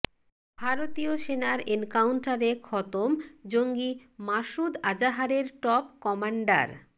ভারতীয় সেনার এনকাউন্টারে খতম জঙ্গি মাসুদ আজাহারের টপ কম্যান্ডার